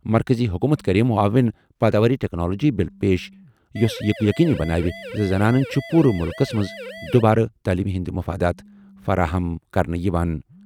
مرکزی حکومت کَرِ معاون پٲداواری ٹیکنالوجی بل پیش یُس یہِ یقینی بناوِ زِ زنانَن چھِ پوٗرٕ مُلکَس منٛز دوبارٕ تعلیٖمہِ ہٕنٛدۍ مفادات فراہم کرنہٕ یِوان۔